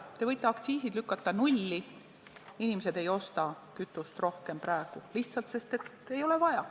Te võite aktsiisid lükata nulli, inimesed ei osta kütust praegu rohkem, sest ei ole vaja.